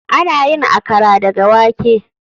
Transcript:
Ana yin Akara daga wake.